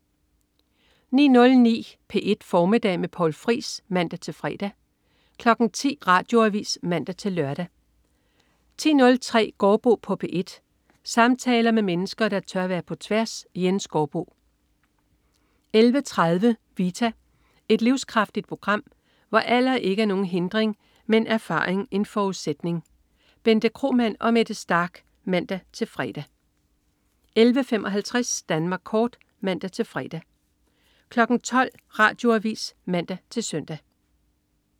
09.09 P1 Formiddag med Poul Friis (man-fre) 10.00 Radioavis (man-lør) 10.03 Gaardbo på P1. Samtaler med mennesker, der tør være på tværs. Jens Gaardbo 11.30 Vita. Et livskraftigt program, hvor alder ikke er nogen hindring, men erfaring en forudsætning. Bente Kromann og Mette Starch (man-fre) 11.55 Danmark kort (man-fre) 12.00 Radioavis (man-søn)